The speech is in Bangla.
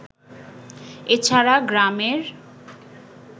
এ ছাড়া গ্রামের